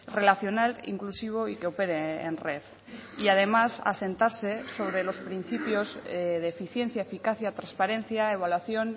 relacional inclusivo y que opere en red y además asentarse sobre los principios de eficiencia eficacia transparencia evaluación